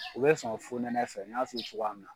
U bɛ sɔn funɛnɛ fɛ n y'a f'i ye cogoya min na.